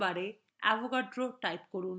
search bar avogadro type করুন